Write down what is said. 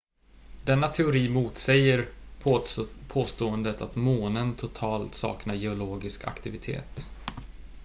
denna teori motsäger påståendet att månen totalt saknar geologisk aktivitet